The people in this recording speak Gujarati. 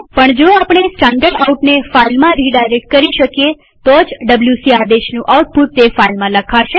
પણ જો આપણે standardoutને ફાઈલમાં રીડાયરેક્ટ કરી શકીએ તો જ ડબ્લ્યુસી આદેશનું આઉટપુટ તે ફાઈલમાં લખાશે